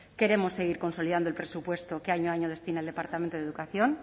queremos seguir consolidando el presupuesto que año a año destina el departamento de educación